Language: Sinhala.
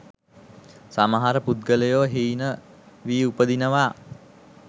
සමහර පුද්ගලයෝ හීන වී උපදිනවා.